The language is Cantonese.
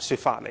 說法。